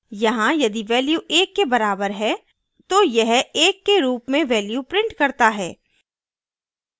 यहाँ यदि value एक के बराबर है तो यह एक के रूप में value prints करता है